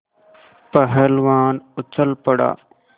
पहलवान उछल पड़ा